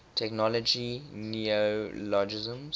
technology neologisms